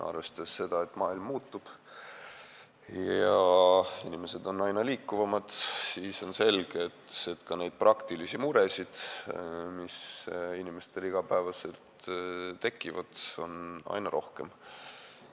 Arvestades seda, et maailm muutub ja inimesed on aina liikuvamad, on selge, et ka neid praktilisi muresid, mis inimestel iga päev tekivad, on aina rohkem.